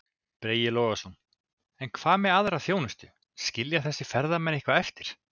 Breki Logason: En hvað með aðra þjónustu, skilja þessir ferðamenn eitthvað eftir?